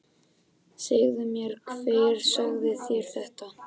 Segðu mér hver sagði þér þetta.